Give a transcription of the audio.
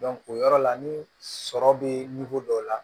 o yɔrɔ la ni sɔrɔ bɛ dɔ la